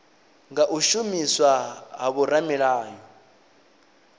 nga u shumiswa ha vhoramilayo